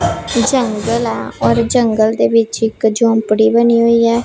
ਜੰਗਲ ਹੈ ਔਰ ਜੰਗਲ ਦੇ ਵਿੱਚ ਇੱਕ ਝੋਪੜੀ ਬਣੀ ਹੋਈ ਹੈ।